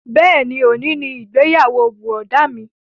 Bẹ́ẹ̀ni, òní ni ìgbéyàwó bùrọ̀dá mi